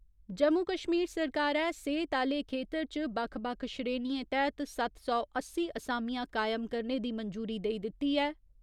जम्मू कश्मीर सरकारै, सेह्‌त आह्‌ले खेत्तर च बक्ख बक्ख श्रेणिएं तैह्त सत्त सौ अस्सी असामियां कायम करने दी मंजूरी देई दित्ती ऐ।